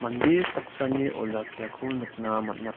mande saksani olakkiako nikna man·a.